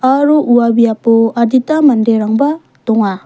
aro ua biapo adita manderangba donga.